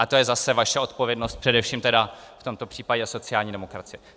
A to je zase vaše odpovědnost, především tedy v tomto případě sociální demokracie.